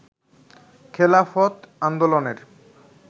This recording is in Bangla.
খেলাফত আন্দোলনের